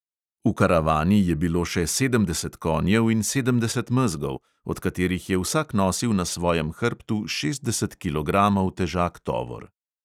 V karavani je bilo še sedemdeset konjev in sedemdeset mezgov, od katerih je vsak nosil na svojem hrbtu šestdeset kilogramov težak tovor.